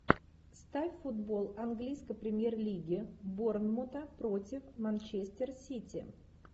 ставь футбол английской премьер лиги борнмута против манчестер сити